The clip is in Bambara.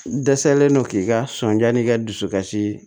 N dɛsɛlen no k'i ka sɔnja n'i ka dusukasi